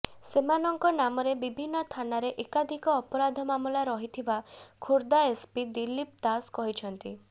ସେମାନଙ୍କ ନାମରେ ବିଭିନ୍ନ ଥାନାରେ ଏକାଧିକ ଅପରାଧ ମାମଲା ରହିଥିବା ଖୋର୍ଦ୍ଧା ଏସ୍ପି ଦିଲ୍ଲୀପ ଦାସ କହିଛନ୍ତି